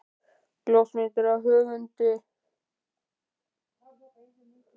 Ljósmynd af höfundi, sú sama og fylgt hefur öllu ýlfrinu.